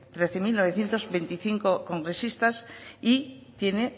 mil novecientos veinticinco congresistas y tiene